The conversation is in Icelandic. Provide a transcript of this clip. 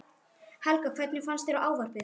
Helga: Hvernig fannst þér ávarpið?